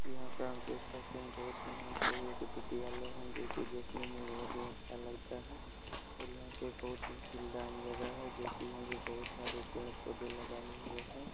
यहा पे आप देख सकते हे बहुत ही यहा पे एक विध्यालय हे जो के देखने मे बहुत ही अच्छा लगता हे ओर यहा पे जो के यहा पे बहुत सारे पेड़- पोधे लगाए हुए हे।